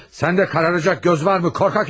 Sən də qaralacaq göz var mı, qorxaq hərifi?